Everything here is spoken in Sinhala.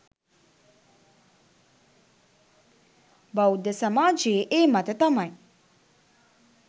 බෞද්ධ සමාජයේ ඒ මත තමයි